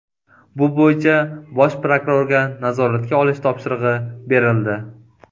Bu bo‘yicha bosh prokurorga nazoratga olish topshirig‘i berildi.